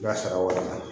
N'a sara walan